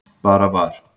Bara var.